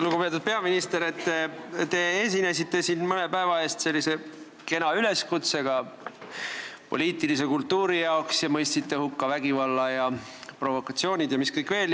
Lugupeetud peaminister, te esinesite siin mõne päeva eest kena üleskutsega poliitilise kultuuri mõttes, mõistsite hukka vägivalla, provokatsioonid ja mis kõik veel.